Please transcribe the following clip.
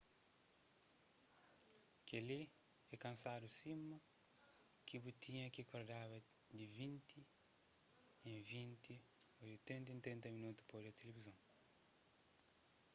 kel-li é kansadu sima ki bu tinha ki kordaba di vinti en vinti ô di trinta en trinta minotu pa odja tilivizon